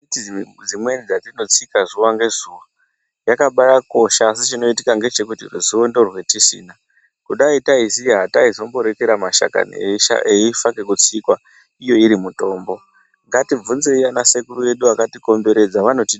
Miti dzimweni dzatinotsika zuwa ngezuwa dzakabaakosha asi ruzivo ndorwatisina. Dai taiziya hataimbaarekera mashakani eifa ngekutsikwa iyo iri mitombo. Ngatibvunzei anasekuru edu akatikomberedza vanotidzidzisa.